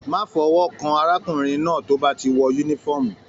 Má fọwọkan arákùnrin náà tó bá ti wọ yúnífọ̀ọ́mù!